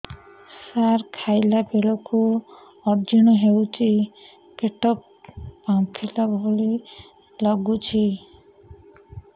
ସାର ଖାଇଲା ବେଳକୁ ଅଜିର୍ଣ ହେଉଛି ପେଟ ଫାମ୍ପିଲା ଭଳି ଲଗୁଛି